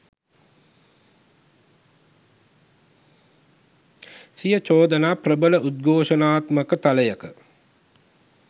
සිය චෝදනා ප්‍රබල උද්ඝෝෂණාත්මක තලයක